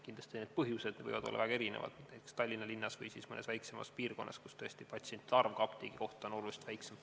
Kindlasti võivad põhjused olla väga erinevad näiteks Tallinna linnas või siis mõnes väiksemas piirkonnas, kus tõesti ka patsientide arv apteegi kohta on oluliselt väiksem.